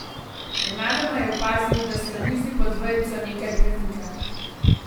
Nenadoma je opazil, da se na mizi pod vejico nekaj premika.